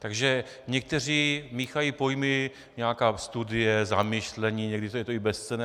Takže někteří míchají pojmy - nějaká studie, zamyšlení, někdy je to i bezcenné.